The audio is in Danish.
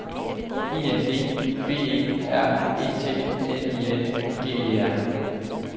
I N D B E R E T N I N G E R